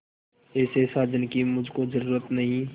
ऐसे साजन की मुझको जरूरत नहीं